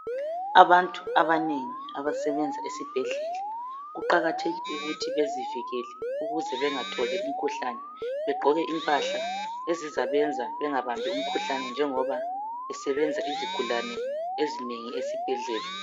Abantu abanengi abasebenza esibhedlela kuqakathekile ukuthi bazivikele bagqoke impahla ezizabenza bengatholi imikhuhlane njengoba besebenza izigulane.